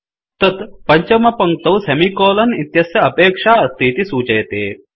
तत् पञ्चमपङ्क्तौ सेमिकोलन इत्यस्य अपेक्षा अस्तीति सूचयति